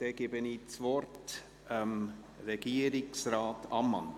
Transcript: Dann gebe ich das Wort Regierungsrat Ammann.